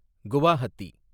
Guwahati